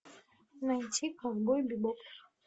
найди ковбой бибоп